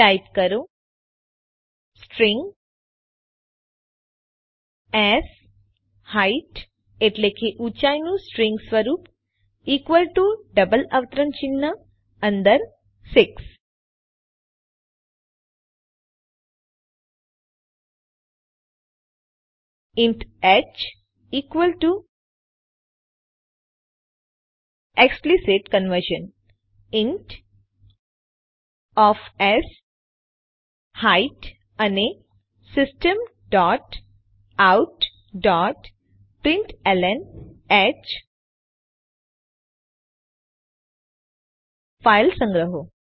type કરો string sheight એટલે કે ઊંચાઈનું સ્ટ્રીંગ સ્વરૂપ ઇકવલ ટુ ડબલ અવતરણ ચિહ્ન અંદર 6 int h equal to explicit conversion int of sheight અને system dot out dot println h file સંગ્રહો